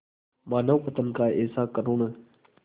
मानवपतन का ऐसा करुण